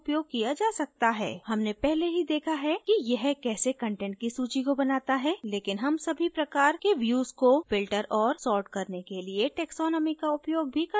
हमने पहले ही देखा है कि यह कैसे content की सूची को बनाता है लेकिन हम सभी प्रकार के views को filter और sort करने के लिए taxonomy का उपयोग भी कर सकते हैं यदि हम इसका सही उपयोग करें